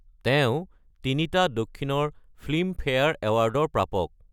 তেওঁ তিনিটা দক্ষিণৰ ফিল্মফেয়াৰ এৱাৰ্ডৰ প্ৰাপক৷